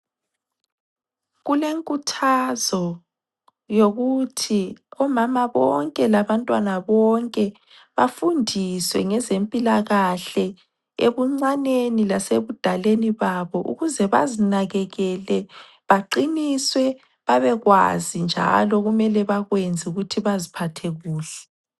Kule nkuthazo, yokuthi, omama bonke labantwana bonke bafundiswe ngezempilakahle ebuncaneni lasebudaleni babo. Ukuze bazinakekele, baqiniswe, babekwazi njalo okumele bakwenze ukuthi baziphathe kuhle.